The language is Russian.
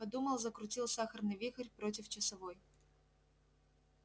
подумал закрутил сахарный вихрь против часовой